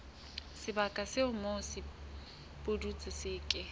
sebaka moo sepudutsi se ke